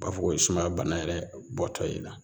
U b'a fɔ ko ye sumaya bana yɛrɛ bɔtɔ ye i la